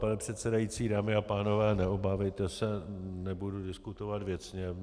Pane předsedající, dámy a pánové, neobávejte se, nebudu diskutovat věcně.